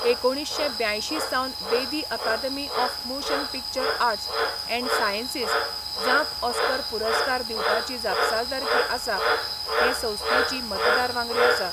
एकुणीश्शें ब्यांयशीं Sawan Bedi Academy of Motion Picture Arts and Sciences जांक ऑस्कर पुरस्कार दिवपाची जापसालदारकी आसा हे संस्थेचो मतदार वांगडी आसा.